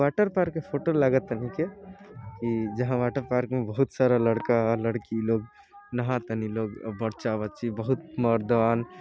Water park की photo लागत ह। निके ई जहा वॉटर पार्क मे बहोत सारा लड़का लड़की लोग न्हातानी लोग बच्चा बच्ची बहुत मरदान